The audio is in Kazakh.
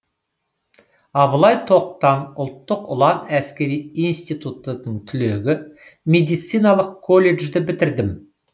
абылай тоқтан ұлттық ұлан әскери институтының түлегі медициналық колледжді бітірдім